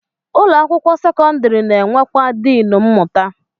Ụlọ akwụkwọ sekọndịrị na-enwekwa diin mmụta